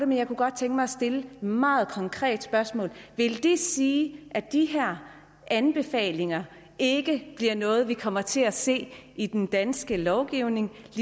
men jeg kunne godt tænke mig at stille et meget konkret spørgsmål vil det sige at de her anbefalinger ikke bliver noget vi kommer til at se i den danske lovgivning